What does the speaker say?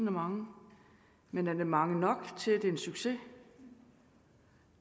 er mange men er det mange nok til at det er en succes